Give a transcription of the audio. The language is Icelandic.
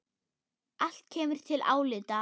Allt kemur til álita.